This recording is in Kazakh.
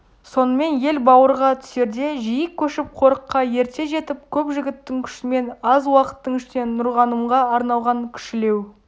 сонымен ел бауырға түсерде жиі көшіп қорыққа ерте жетіп көп жігіттің күшімен аз уақыттың ішінде нұрғанымға арналған кішілеу